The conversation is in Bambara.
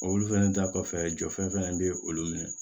Olu fɛnɛ da kɔfɛ jɔfɛn fɛnɛ be olu minɛ